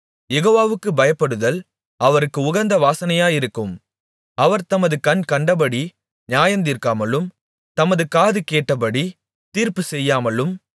யெகோவாவுக்குப் பயப்படுதல் அவருக்கு உகந்த வாசனையாயிருக்கும் அவர் தமது கண் கண்டபடி நியாயந்தீர்க்காமலும் தமது காது கேட்டபடி தீர்ப்புச்செய்யாமலும்